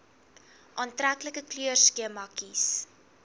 aantreklike kleurskema kies